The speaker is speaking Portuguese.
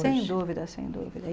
Sem dúvida, sem dúvida.